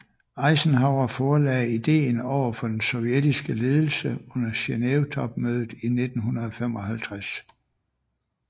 Eisenhower forelagde ideen overfor den sovjetiske ledelse under Genevetopmødet i 1955